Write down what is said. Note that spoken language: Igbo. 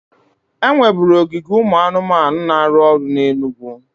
E nweburu ogige ụmụ anụmanụ na-arụ ọrụ na Enugwu